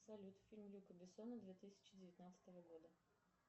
салют фильм люка бессона две тысячи девятнадцатого года